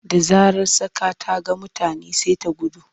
Da zarar tsaka ta ga mutane sai ta gudu.